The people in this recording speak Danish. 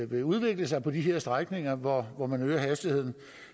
vil udvikle sig på de her strækninger hvor hvor man øger hastigheden